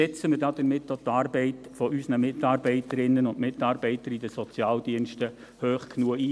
Schätzen wir damit auch die Arbeit unserer Mitarbeiterinnen und Mitarbeiter in den Sozialdiensten hoch genug ein.